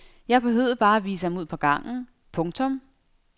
Jeg behøvede bare at vise ham ud på gangen. punktum